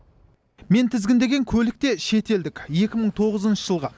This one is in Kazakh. мен тізгіндеген көлік те шетелдік екі мың тоғызыншы жылғы